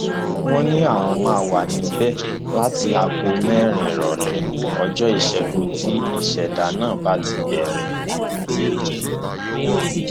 wọn ní àwọn máa wà níbẹ láti aago mẹrin ìrọlẹ ọjọ ìṣègùn tí ìṣẹdá náà bá ti bẹrẹ